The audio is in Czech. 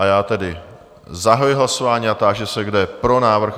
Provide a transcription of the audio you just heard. A já tedy zahajuji hlasování a táži se, kdo je pro návrh?